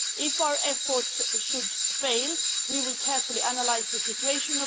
If our efforts should fail we will carefully analyse the situation.